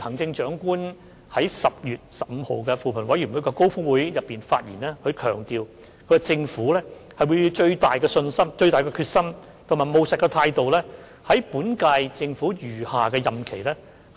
行政長官在10月15日扶貧委員會高峰會上，強調政府會以最大的決心和務實的態度，在本屆政府餘下任期